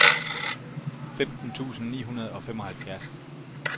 femten tusind ni hundrede og femoghalvfjerds